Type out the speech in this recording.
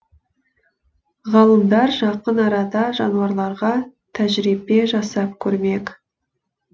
ғалымдар жақын арада жануарларға тәжірибе жасап көрмек